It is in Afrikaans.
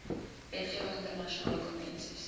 wetgewing internasionale konvensies